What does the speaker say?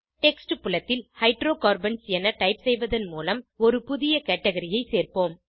text புலத்தில் hydrocarbons என type செய்வதன் மூலம் ஒரு புதிய கேட்கரி ஐ சேர்ப்போம்